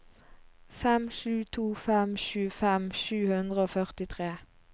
fem sju to fem tjuefem sju hundre og førtitre